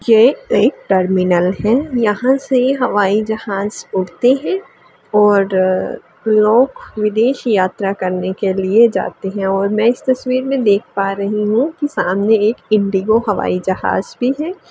ये एक टर्मिनल है यहाँ से हवाई जहाँज उड़ते हें और अ लोग विदेश यात्रा करने के लिए जाते हैं और मैं इस तस्वीर में देख पा रही हूँ सामने एक इंडिगो हवाई जहाँज भी है।